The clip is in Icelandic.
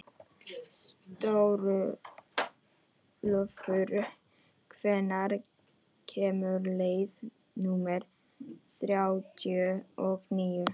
Stórólfur, hvenær kemur leið númer þrjátíu og níu?